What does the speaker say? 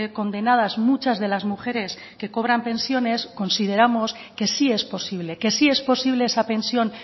condenadas muchas de las mujeres que cobran pensiones consideramos que sí es posible que sí es posible esa pensión